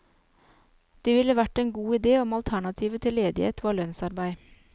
Det ville vært en god idé om alternativet til ledighet var lønnsarbeid.